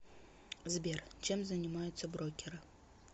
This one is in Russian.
сбер чем занимаются брокеры